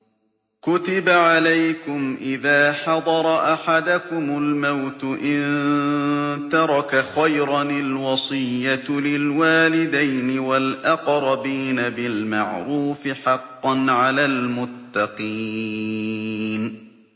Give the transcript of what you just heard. كُتِبَ عَلَيْكُمْ إِذَا حَضَرَ أَحَدَكُمُ الْمَوْتُ إِن تَرَكَ خَيْرًا الْوَصِيَّةُ لِلْوَالِدَيْنِ وَالْأَقْرَبِينَ بِالْمَعْرُوفِ ۖ حَقًّا عَلَى الْمُتَّقِينَ